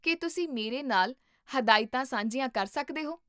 ਕੀ ਤੁਸੀਂ ਮੇਰੇ ਨਾਲ ਹਦਾਇਤਾਂ ਸਾਂਝੀਆਂ ਕਰ ਸਕਦੇ ਹੋ?